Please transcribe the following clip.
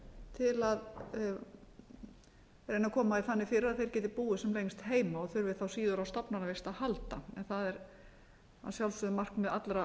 til að reyna að koma því þannig fyrir að þeir geti búið sem lengst heima og þurfi þá síður á stofnanavist að halda en það er að sjálfsögðu markmið allra